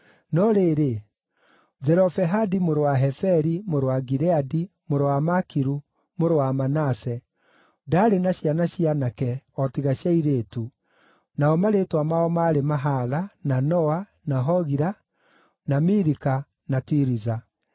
No rĩrĩ, Zelofehadi mũrũ wa Heferi, mũrũ wa Gileadi, mũrũ wa Makiru, mũrũ wa Manase ndaarĩ na ciana cia aanake o tiga cia airĩtu, nao marĩĩtwa mao maarĩ Mahala, na Noa, na Hogila, na Milika, na Tiriza.